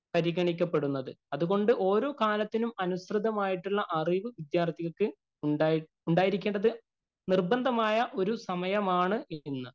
പരിഗണിക്കപ്പെടുന്നത്. അതുകൊണ്ട് ഓരോ കാലത്തിനും അനുസൃതമായിട്ടുള്ള അറിവ് വിദ്യാര്‍ത്ഥിക്ക് ഉണ്ടായിരിക്കേണ്ടത് നിര്‍ബന്ധമായ ഒരു സമയമാണ് ഇന്ന്.